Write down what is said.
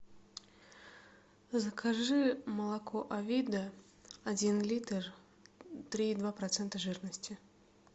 закажи молоко авида один литр три и два процента жирности